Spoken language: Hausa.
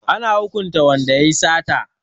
Ana hukunta wanda ya yi sata.